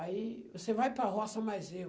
Aí você vai para a roça mais eu.